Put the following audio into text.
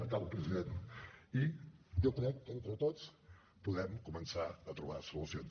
acabo president i jo crec que entre tots podem començar a trobar solucions